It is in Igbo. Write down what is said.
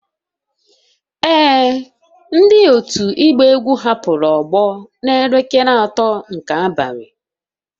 Ee, ndị otu ịgba egwu hapụrụ ogbo n'elekere atọ nke abalị